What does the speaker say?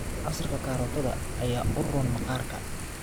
Casiirka karootada ayaa u roon maqaarka.